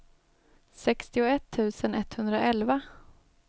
sextioett tusen etthundraelva